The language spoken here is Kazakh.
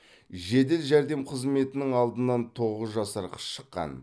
жедел жәрдем қызметінің алдынан тоғыз жасар қыз шыққан